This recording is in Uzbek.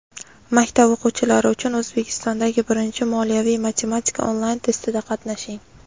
Maktab o‘quvchilari uchun O‘zbekistondagi birinchi "Moliyaviy matematika" onlayn testida qatnashing!.